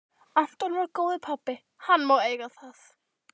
Anton var góður pabbi, hann má eiga það.